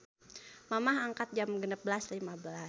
Mamah angkat Jam 16.15